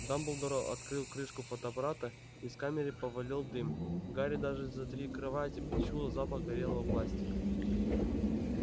дамблдор открыл крышку фотоаппарата из камеры повалил дым гарри даже за три кровати почуял запах горелого пластика